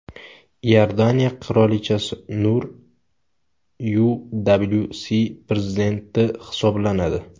Iordaniya qirolichasi Nur UWC prezidenti hisoblanadi.